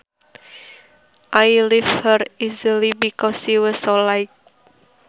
I lifted her easily because she was so light